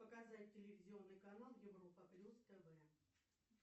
показать телевизионный канал европа плюс тв